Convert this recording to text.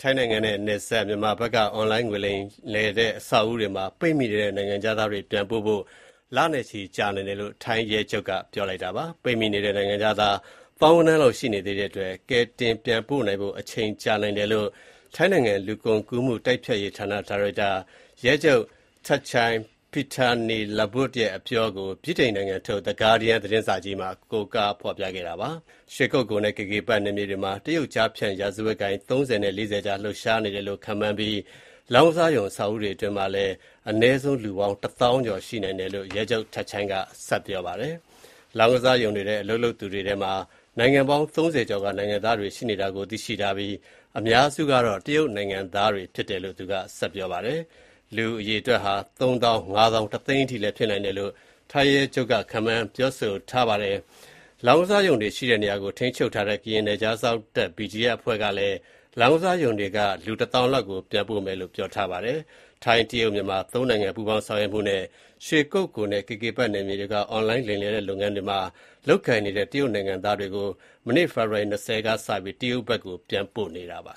ထိုင်းနိုင်ငံနဲ့နယ်စပ် မြန်မာဘက်က အွန်လိုင်းငွေကြေးလိမ်လည်တဲ့အဆောက်အဦးတွေမှာ ပိတ်မိနေတဲ့ နိုင်ငံခြားသားတွေ ပြန်ပို့ဖို့ လနဲ့ချီကြာနိုင်တယ်လို့ ထိုင်းရဲချုပ်က ပြောလိုက်ပါတယ်။ ပိတ်မိနေတဲ့နိုင်ငံခြားသား သောင်းဂဏန်းလောက်ရှိနေသေးတဲ့အတွက် ကယ်တင်ပြန်ပို့နိုင်ဖို့ အချိန်ကြာ နိုင်တယ်လို့ ထိုင်းနိုင်ငံ လူကုန်ကူးမှုတိုက်ဖျက်ရေးဌာန ဒါရိုက်တာ ရဲချုပ် Thatchai Pitaneelaboot ရဲ့အပြောကို ဗြိတိန်ထုတ် The Guardian သတင်းစာကြီးမှာ ကိုးကားဖော်ပြခဲ့ပါတယ်။ ရွှေကုက္ကိုနဲ့ KK Park နယ်မြေတွေမှာ တရုတ်ကျားဖြန့် ရာဇဝတ်ဂိုဏ်း (၃၀) နဲ့ (၄၀) ကြား လှုပ်ရှားနေ တယ်လို့ ခန့်မှန်းပြီး လောင်းကစားရုံ အဆာက်အဦးတွေအတွင်းမှာ အနည်းဆုံး တသောင်း (၁၀,၀၀၀) ကျော် ရှိနိုင်တယ်လို့ ရဲချုပ် Thatchai Pitaneelaboot က ပြောတာပါ။ လောင်းကစားရုံတွေထဲ အလုပ်လုပ်သူတွေထဲမှာ နိုင်ငံပေါင်း (၃၀) ကျော်က နိုင်ငံသားတွေ ရှိနေတာကို သိရှိထားပြီး အများစုက တရုတ်နိုင်ငံသားတွေ ဖြစ်တယ်လို့လည်း ပြောပါတယ်။ လူ အရေအတွက်ဟာ သုံးသောင်း၊ ငါးသောင်း၊ တသိန်းအထိလည်း ဖြစ်နိုင်တယ်လို့လည်း ထိုင်းရဲချုပ်က ခန့်မှန်းပါတယ်။ လောင်းကစားရုံတွေရှိတဲ့နေရာကို ထိန်းချုပ်ထားတဲ့ ကရင်နယ်ခြားစောင့်တပ် BGF အဖွဲ့ကလည်း လောင်းကစားရုံတွေက လူ တသောင်းလောက်ကို ပြန်ပို့မယ်လို့ ပြောဆိုထားပါတယ်။ ထိုင်း၊ တရုတ်၊ မြန်မာ (၃) နိုင်ငံ ပူးပေါင်းဆောင်ရွက်မှုနဲ့ ရွှေကုက္ကိုနဲ့ KK Park နယ်မြေတွေက အွန်လိုင်း လိမ်လည်တဲ့လုပ်ငန်းတွေမှာ လုပ်ကိုင်နေတဲ့ တရုတ်နိုင်ငံသားတွေကို မနေ့ ဖေဖော်ဝါရီ ( ၂၀) ရက်က စတင်ပြီး တရုတ်ဘက်ကို ပြန်ပို့နေပါ